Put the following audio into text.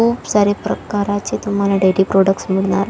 खूप सारे प्रकारचे तुम्हाला डेयरी प्रोडक्टस मिळणार--